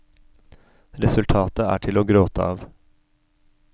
Resultatet er til å gråte av.